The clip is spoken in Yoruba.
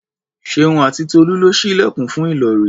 Ṣeun àti Tolú lọ ṣí ilẹ̀kùn fún Ìlọ̀rí.